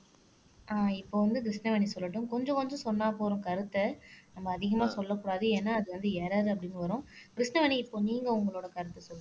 அஹ் இப்போ வந்து கிருஷ்ணவேணி சொல்லட்டும் கொஞ்சம் கொஞ்சம் சொன்னா போதும் கருத்தை நம்ம அதிகமா சொல்லக் கூடாது ஏன்னா அது வந்து எரரர் அப்படின்னு வரும் கிருஷ்ணவேணி இப்போ நீங்க உங்களோட கருத்தை சொல்லுங்க